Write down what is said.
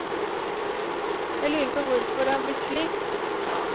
Jeg lurer på hvorfor det har blitt slik.